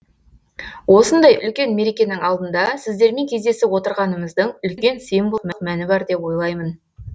осындай үлкен мерекенің алдында сіздермен кездесіп отырғанымыздың үлкен символдық мәні бар деп ойлаймын